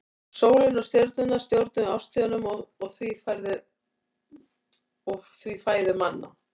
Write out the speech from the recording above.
Sólin og stjörnurnar stjórnuðu árstíðunum og því fæðu manna.